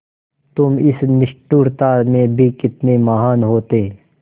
तुम इस निष्ठुरता में भी कितने महान् होते